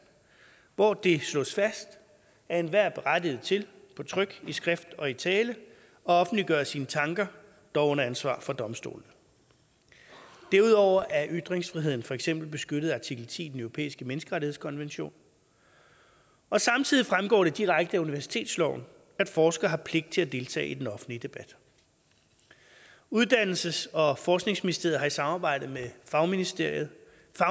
hvor det slås fast at enhver er berettiget til på tryk i skrift og i tale at offentliggøre sine tanker dog under ansvar for domstolene derudover er ytringsfriheden for eksempel beskyttet af artikel ti i den europæiske menneskerettighedskonvention og samtidig fremgår det direkte af universitetsloven at forskere har pligt til at deltage i den offentlige debat uddannelses og forskningsministeriet har i samarbejde med fagministerier